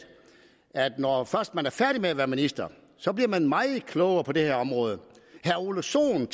når først man er færdig med at være minister bliver man meget klogere på det her område herre ole sohn